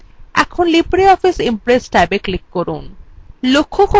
এখন libreoffice impress ট্যাবএ click করুন